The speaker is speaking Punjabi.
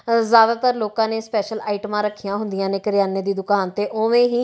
ਜ਼ਾਦਾਤਰ ਲੋਕਾਂ ਨੇਂ ਸਪੈਸ਼ਲ ਆਈਟਮਾਂ ਰੱਖੀਆਂ ਹੁੰਦੀਆਂ ਨੇਂ ਕਿਰਿਆਨੇ ਦੀ ਦੁਕਾਨ ਤੇ ਓਹਵੇਂ ਹੀ--